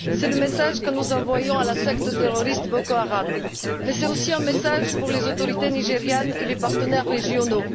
C'est le message que nous envoyons à la secte terroriste Boko Haram, mais c'est aussi un message pour les autorités nigérianes et les partenaires régionaux.